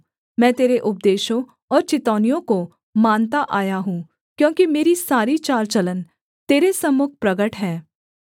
मैं तेरे उपदेशों और चितौनियों को मानता आया हूँ क्योंकि मेरी सारी चाल चलन तेरे सम्मुख प्रगट है